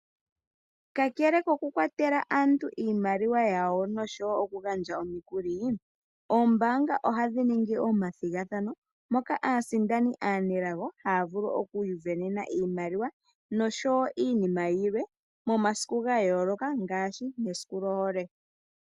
Kakela koku kwatela aantu iimaliwa yawo nosho woo oku gandja omikuli. Oombaanga ohadhi ningi omathigathano moka aasindani aanelago haa vulu okusindana iimaliwa nosho woo iinima yilwe momasiku ga yooloka ngaashi mesiku lyohole.